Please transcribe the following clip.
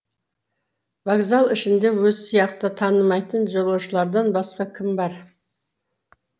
вокзал ішінде өзі сияқты танымайтын жолаушылардан басқа кім бар